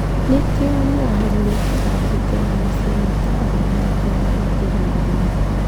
Nĩkĩo nĩahagũrĩte ambunge na masenĩta arĩa mangĩrahingĩrĩirie.